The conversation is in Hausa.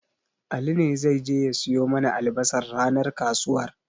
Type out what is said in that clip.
Ali ne zai je ya siyo mana albasar ranar kasuwar.